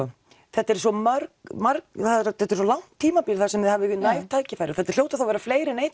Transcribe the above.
þetta eru svo mörg mörg eða þetta er svo langt tímabil þar sem þið hafið næg tækifæri og þetta hljóta þá að vera fleiri en ein